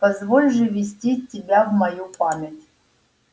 позволь же ввести тебя в мою память